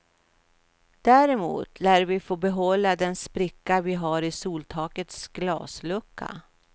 Däremot lär vi få behålla den spricka vi har i soltakets glaslucka.